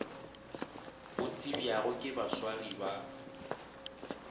go tsebjago ke baswari ba